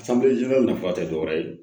nafa tɛ dɔ wɛrɛ ye